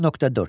10.4.